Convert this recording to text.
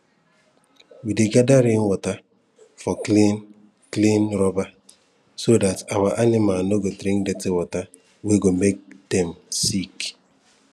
we dey gather rainwater for clean clean rubber so dat our animal no go drink dirty water wey go make make dem sick